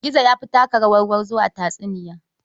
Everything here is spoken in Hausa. Gizo ya fi taka rawar gwarzo a tatsuniya.